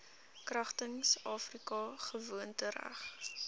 kragtens afrika gewoontereg